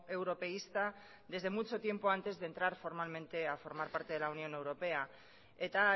europeísta desde mucho tiempo antes de entrar formalmente a formar parte de la unión europea eta